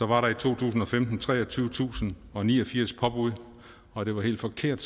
var der i to tusind og femten treogtyvetusinde og niogfirs påbud og det var helt forkert